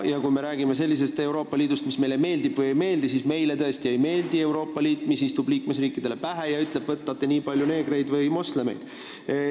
Ja kui me räägime sellisest Euroopa Liidust, mis meile meeldib või ei meeldi, siis meile tõesti ei meeldi selline Euroopa Liit, mis istub liikmesriikidele pähe ja ütleb, et võtate nii palju neegreid või moslemeid.